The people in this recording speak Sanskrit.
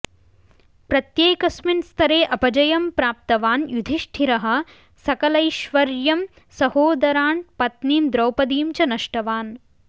प्रत्येकस्मिन् स्तरे अपजयं प्राप्तवान् युधिष्ठिरः सकलैश्वर्यं सहोदान् पत्नीं द्रौपदीं च नष्टवान्